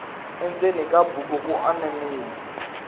endzeni ka buku ku anamile